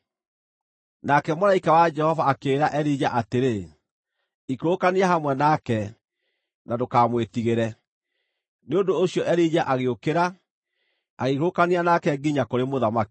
Nake mũraika wa Jehova akĩĩra Elija atĩrĩ, “Ikũrũkania hamwe nake, na ndũkamwĩtigĩre.” Nĩ ũndũ ũcio Elija agĩũkĩra, agĩikũrũkania nake nginya kũrĩ mũthamaki.